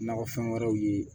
Nakɔfɛn wɛrɛw ye